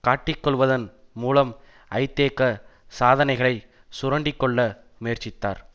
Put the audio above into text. காட்டிக்கொள்வதன் மூலம் ஐதேக சாதனைகளை சுரண்டி கொள்ள முயற்சித்தார்